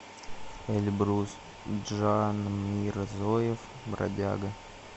эльбрус джанмирзоев бродяга